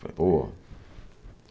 Falei, pô.